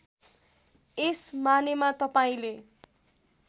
यस मानेमा तपाईँले